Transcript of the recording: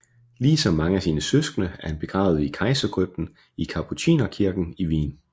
Ligesom mange af sine søskende er han begravet i Kejserkrypten i Kapucinerkirken i Wien